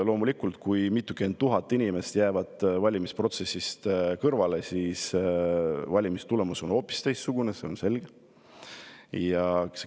Loomulikult, kui mitukümmend tuhat inimest jääb valimisprotsessist kõrvale, siis on valimistulemus hoopis teistsugune, see on selge.